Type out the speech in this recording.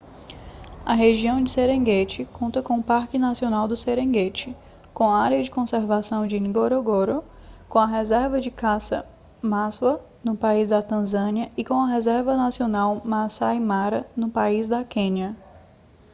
a região de serengeti conta com o parque nacional do serengeti com a área de conservação de ngorongoro com a reserva de caça maswa no país da tanzânia e com a reserva nacional maasai mara no país da quênia